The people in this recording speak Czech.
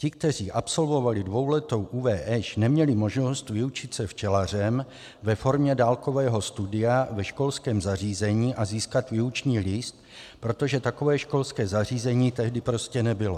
Ti, kteří absolvovali dvouletou ÚVŠ, neměli možnost vyučit se včelařem ve formě dálkového studia ve školském zařízení a získat výuční list, protože takové školské zařízení tehdy prostě nebylo.